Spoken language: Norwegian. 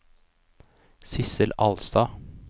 Sissel Alstad